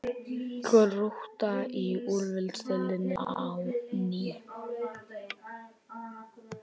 Grótta í úrvalsdeild á ný